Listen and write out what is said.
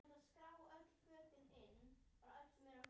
Þeir vita að ég tók engin lyf.